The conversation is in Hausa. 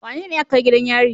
Wanene aka kai gidan yari?